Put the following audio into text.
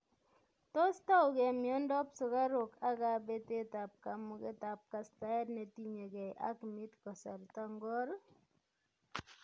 Tos tougei miondop sukaruk ak kabetetab kamugetab kastaet netinyegei ak midd kasarta ngor?